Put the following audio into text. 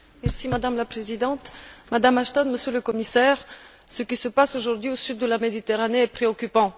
Madame la Présidente, Madame Ashton, Monsieur le Commissaire, ce qui se passe aujourd'hui au sud de la Méditerranée est préoccupant.